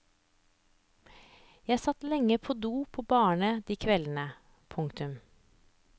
Jeg satt lenge på do på barene de kveldene. punktum